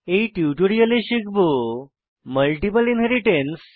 এই টিউটোরিয়ালে শিখব মাল্টিপল ইনহেরিট্যান্স